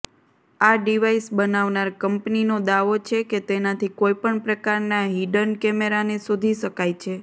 આ ડિવાઇસ બનાવનાર કંપનીનો દાવો છે કે તેનાથી કોઇપણ પ્રકારના હિડન કેમેરાને શોધી શકાય છે